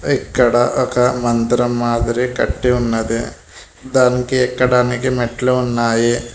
ఇక్కడ ఒక మందిరం మాదిరి కట్టి ఉన్నది దానికి ఎక్కడానికి మెట్లు ఉన్నాయి.